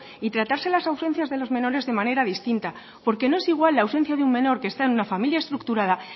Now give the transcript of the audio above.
y tratarse las ausencias de los menores de manera distinta porque no es igual la ausencia de un menor que está en una familia estructura